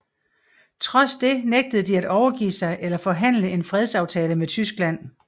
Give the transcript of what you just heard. Trods det nægtede de at overgive sig eller forhandle en fredsaftale med Tyskland